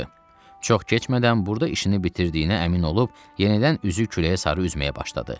Çox keçmədən burda işini bitirdiyinə əmin olub yenidən üzü küləyə sarı üzməyə başladı.